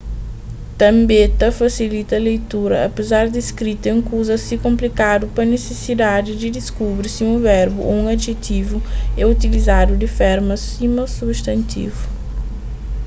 tânbe ta fasilita leitura apezar di skrita é un kuza asi konplikadu pa nisisidadi di diskubri si un verbu ô un adijetivu é utilizadu di forma sima substantivu